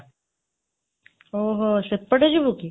ଓଃହୋ ସେପଟେ ଯିବୁ କି?